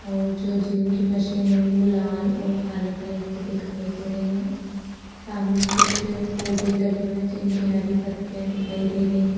और जो जिम की मशीन है वो लाल और काले कलर की दिखाई दे रही है सामने कुछ पौधे लगे हुए हैं जिनकी हरी पत्तियां दिखाई दे रही है।